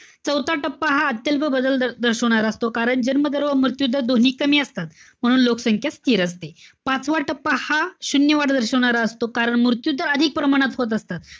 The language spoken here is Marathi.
चौथा टप्पा हा अत्यल्प बदल दर~ दर्शवणारा असतो. कारण जन्म दर किंवा मृत्यू दर दोन्ही कमी असतात. म्हणून लोकसंख्या स्थिर असते. पाचवा टप्पा हा शून्य वाढ दर्शवणारा असतो. कारण मृत्यू दर अधिक प्रमाणात होत असतो.